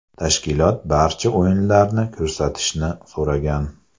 Tashkilot barcha o‘yinlarni ko‘rsatishni so‘ragan.